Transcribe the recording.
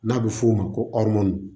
N'a bɛ f'o ma ko